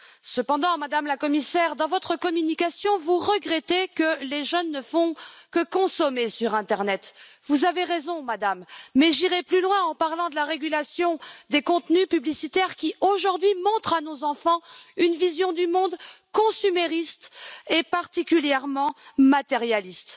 Cependant, Madame la Commissaire, dans votre communication, vous regrettez que les jeunes ne fassent que consommer sur l'internet. Vous avez raison, mais j'irai plus loin en parlant de la régulation des contenus publicitaires qui, aujourd'hui, montrent à nos enfants une vision du monde consumériste et particulièrement matérialiste.